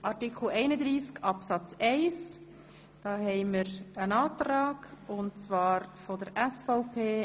Zu Artikel 31 Absatz 1 liegt ein Antrag vor und zwar von der SVP.